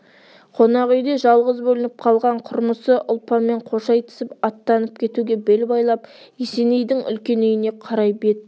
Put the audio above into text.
қонақ үйде жалғыз бөлініп қалған құрмысы ұлпанмен қош айтысып аттанып кетуге бел байлап есенейдің үлкен үйіне қарай бет